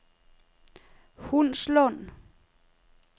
Hundslund